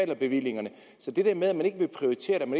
bevillingerne så det der med at man ikke ville prioritere